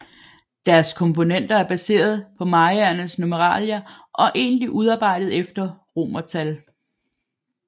Deres komponenter er baseret på mayaernes numeralier og egentligt udarbejdet efter romertal